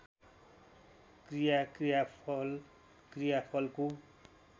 क्रिया क्रियाफल क्रियाफलको